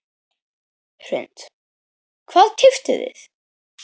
Hrund: Hvað keyptuð þið?